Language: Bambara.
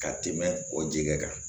Ka tɛmɛ o ji kɛ kan